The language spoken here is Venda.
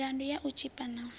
milandu ya u tshipa na